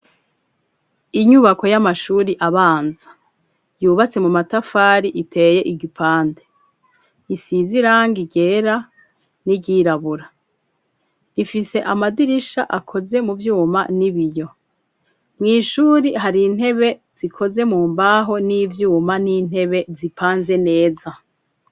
Inyubako y'amashure abanza yubatse mu matafari iteye igipande isize irangi ryera n'iryirabura rifise amadirisha akoze mu vyuma n'ibiyo mu ishure hari intebe zikoze mu mbaho n'ivyuma n'intebe zipanze neza.